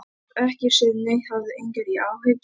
Ég hef ekki séð neitt, hafðu engar áhyggjur.